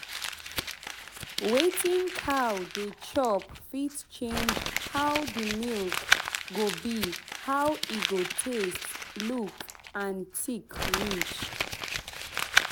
wetin cow dey chop fit change how the milk go be how e go taste look and thick reach.